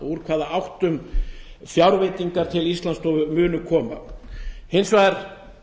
úr hvaða áttum fjárveitingar til íslandsstofu munu koma hins vegar